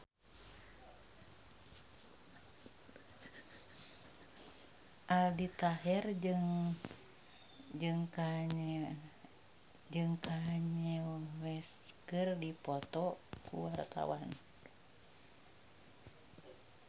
Aldi Taher jeung Kanye West keur dipoto ku wartawan